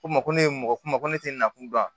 Ko ma ko ne ye mɔgɔ kuma ko ne tɛ na kun dɔn